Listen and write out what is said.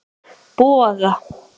Boga